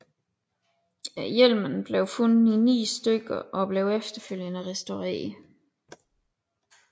Hjelmen blev fundet i ni stykker og blev efterfølgende restaureret